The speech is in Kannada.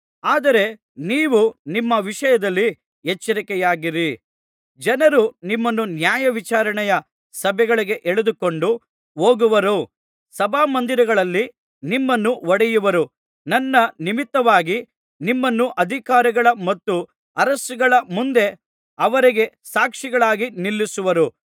ಆದರೆ ನೀವು ನಿಮ್ಮ ವಿಷಯದಲ್ಲಿ ಎಚ್ಚರಿಕೆಯಾಗಿರಿ ಜನರು ನಿಮ್ಮನ್ನು ನ್ಯಾಯವಿಚಾರಣೆಯ ಸಭೆಗಳಿಗೆ ಎಳೆದುಕೊಂಡು ಹೋಗುವರು ಸಭಾಮಂದಿರಗಳಲ್ಲಿ ನಿಮ್ಮನ್ನು ಹೊಡೆಯುವರು ನನ್ನ ನಿಮಿತ್ತವಾಗಿ ನಿಮ್ಮನ್ನು ಅಧಿಕಾರಿಗಳ ಮತ್ತು ಅರಸುಗಳ ಮುಂದೆ ಅವರಿಗೆ ಸಾಕ್ಷಿಗಳಾಗಿ ನಿಲ್ಲಿಸುವರು